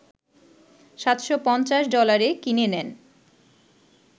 ৭৫০ ডলারে কিনে নেন